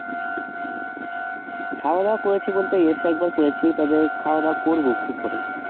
খাওয়া দাওয়া করেছি বলতে এসে একবার করেছি, তারপরে খাওয়া দাওয়া করবো একটু পরেই